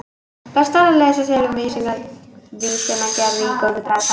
Best er að lesa sér til um vísnagerð í góðri bragfræði.